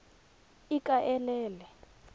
ikaelele